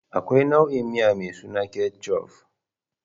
Akwai nau'i miya mai suna Ketchuf.